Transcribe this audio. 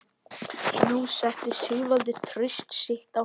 Nú setti Sigvaldi traust sitt á hann.